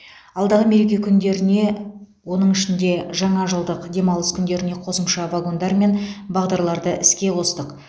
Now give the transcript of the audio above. алдағы мереке күндеріне оның ішінде жаңажылдық демалыс күндеріне қосымша вагондар мен бағдарларды іске қостық